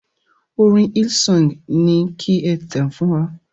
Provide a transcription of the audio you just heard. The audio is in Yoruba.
Orin Hillsong ni ki e tàn fún wa.